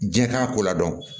Diɲɛ t'a ko la dɔn